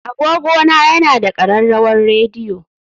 Agogona yana da ƙararrawar rediyo